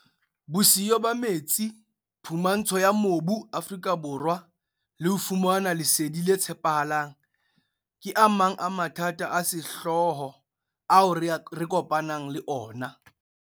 Bosiyo ba metsi, phumantsho ya mobu, Afrika Borwa, le ho fumana lesedi le tshepahalang, ke a mang a mathata a sehlooho ao re kopanang le ona.